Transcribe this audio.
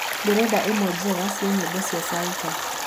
ndĩrenda ĩmwe njega cĩa nyĩmbo cĩa salsa